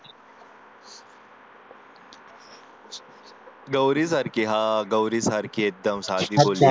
गौरी सारखी हा गौरी सारखी एकदम साधीभोळी